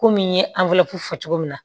Komi n ye fɔ cogo min na